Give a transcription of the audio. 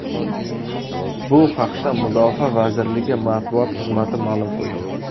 Bu haqda Mudofaa vazirligi matbuot xizmati ma’lum qildi.